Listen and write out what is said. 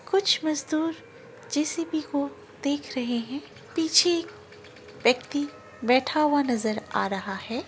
कुछ मजदूर जे_सी_बी को देख रहे हैं। पीछे व्यक्ति बैठा हुआ नजर आ रहा है।